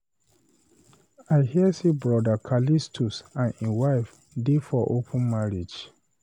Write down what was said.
I hear say brother Callistus and him wife dey for open marriage.